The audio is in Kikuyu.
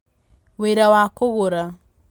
Wĩra wa Kũgũra: